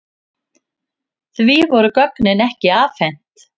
Því voru gögnin ekki afhent.